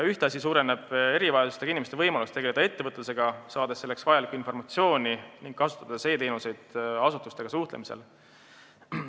Ühtlasi suureneb erivajadustega inimeste võimalus tegeleda ettevõtlusega, sest nad saavad selleks vajalikku informatsiooni ning nad saavad kasutada e-teenuseid asutustega suhtlemisel.